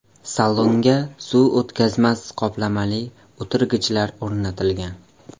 Salonga suv o‘tkazmas qoplamali o‘tirgichlar o‘rnatilgan.